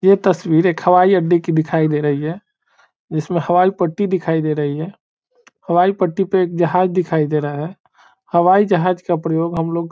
ये तस्वीर एक हवाई अड्डे की दिखाई दे रही है इसमें हवाई पट्टी दिखाई दे रही है हवाई पट्टी पे एक जहाज दिखाई दे रहा है हवाई जहाज का प्रयोग हम लोग --